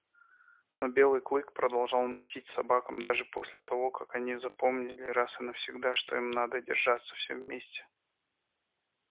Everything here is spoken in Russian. но белый клык продолжал мстить собакам даже после того как они запомнили раз и навсегда что им надо держаться всем вместе